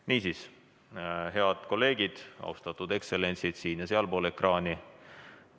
Niisiis, head kolleegid, austatud ekstsellentsid siin- ja sealpool ekraani!